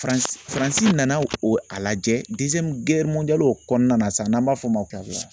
Faran Faransi nana o a lajɛ o kɔnɔna na sisan n'an b'a fɔ o ma